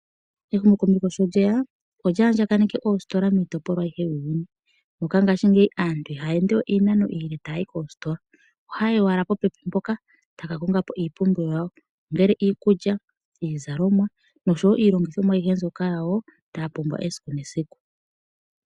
Ehumokomeho sho lyeya olyaandjagakaneke oositola miitopolwa ayihe yuuyuni, moka mongashingeyi aantu ihaya endewe iinano iile taya yi koositola, ohaya yi owala popepi mpoka taya kakongapo iipumbiwa yawo , ongele iikulya, iizalomwa noshowoo iilongithomwa aihe mbyoka yawo taya pumbwa esiku nesiku.